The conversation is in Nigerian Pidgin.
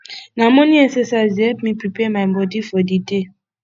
na morning excercise dey help me prepare my bodi for di day